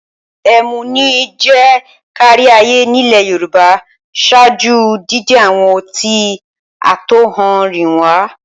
Ẹmu ni ó jẹ́ káríayé nílẹ̀ Yorùbá ṣáájú dídé àwọn ọtí àtọ̀húnrìnwá.